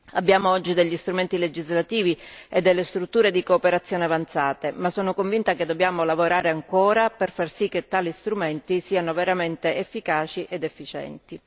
Abbiamo oggi degli strumenti legislativi e delle strutture di cooperazione avanzate, ma sono convinta che dobbiamo lavorare ancora per far sì che tali strumenti siano veramente efficaci ed efficienti.